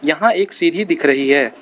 यहां एक सीढ़ी दिख रही है।